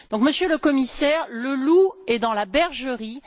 Donc, Monsieur le Commissaire, le loup est dans la bergerie.